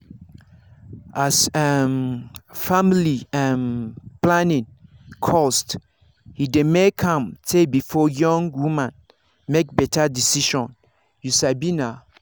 as um family um planning cost he dey make am tay before young woman make better decision you sabi na